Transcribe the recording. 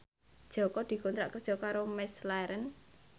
Jaka dikontrak kerja karo McLarren